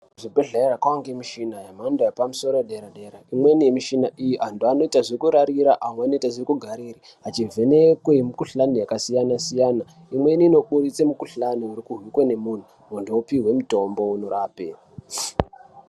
Kuzvibhedhlera kwava ngemichina yemhando yepamusoro soro imweni yemichina iyi antu anoita zvekurarira amwe anoita zvekugarira achivhenekwe mukuhlani yakasiyana-siyana imweni inokurise mukuhlani irikuhwikwe nemuntu, muntu opiwe mitombo inorape.